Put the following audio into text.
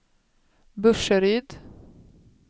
Burseryd